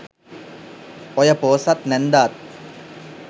ඔය පෝසත් නැන්දාත්